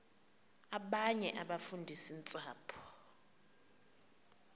abanye abafundisi ntshapo